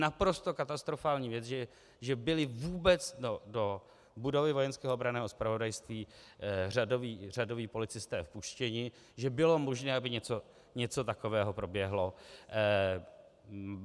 Naprosto katastrofální věc, že byli vůbec do budovy Vojenského obranného zpravodajství řadoví policisté vpuštěni, že bylo možné, aby něco takového proběhlo.